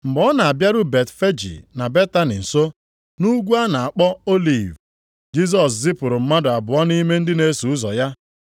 Mgbe ọ na-abịaru Betfeji na Betani nso, nʼUgwu a na-akpọ Oliv, Jisọs zipụrụ mmadụ abụọ nʼime ndị na-eso ụzọ ya,